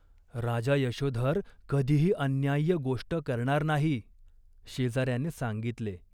"राजा यशोधर कधीही अन्याय्य गोष्ट करणार नाही." शेजाऱ्याने सांगितले.